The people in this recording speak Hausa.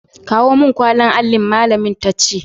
Kawo mun kwallin allin', malamin ta ce.